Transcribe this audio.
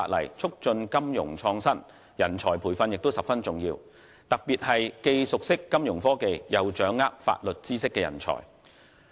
要促進金融創新，人才培訓十分重要，特別是既熟悉金融科技，又掌握法律知識的人才。